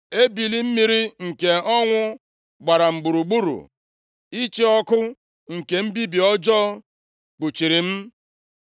Ebili mmiri nke ọnwụ gbara m gburugburu; Ịchị ọkụ nke mbibi ọjọọ kpuchiri m. + 22:5 Mmekpa ahụ nke na-eweta mbibi bịakwasịrị m